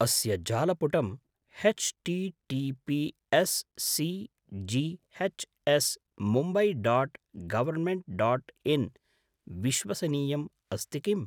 अस्य जालपुटं H TTPS CGH S Mumbai dot government dot in विश्वसनीयम् अस्ति किम्?